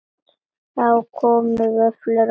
Það komu vöflur á Halla.